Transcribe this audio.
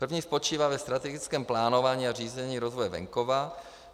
První spočívá ve strategickém plánování a řízení rozvoje venkova.